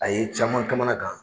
A ye caman kamanagan.